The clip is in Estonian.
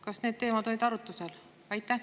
Kas need teemad olid arutusel?